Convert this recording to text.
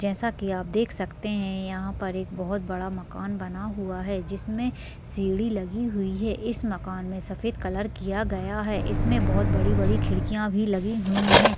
जैसा कि आप देख सकते हैं यहाँ पर एक बहुत बड़ा मकान बना हुआ है जिसमें सीढ़ी लगी हुई है इस मकान मैं सफेद कलर किया गया है इसमें बहुत बड़ी-बड़ी खिड़कियाँ भी लगी हुई हैं ।